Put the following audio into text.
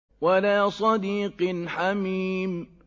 وَلَا صَدِيقٍ حَمِيمٍ